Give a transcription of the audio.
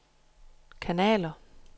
kanaler